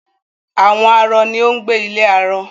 Àwọn arọ ni ó ń gbé ilé arọ